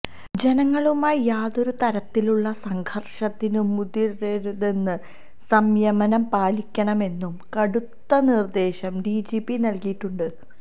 ജനങ്ങളുമായി യാതൊരു തരത്തിലുള്ള സംഘര്ഷത്തിനും മുതിരരെരുതെന്നും സംയമനം പാലിക്കണമെന്നും കടുത്ത നിര്ദേശം ഡിജിപി നല്കിയിട്ടുണ്ട്